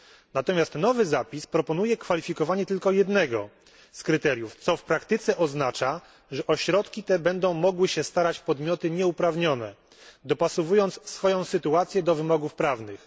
Natomiast nowy zapis proponuje kwalifikowanie na podstawie tylko jednego z kryteriów, co w praktyce oznacza, że o środki te będą mogły się starać podmioty nieuprawnione, dopasowując swoją sytuację do wymogów prawnych.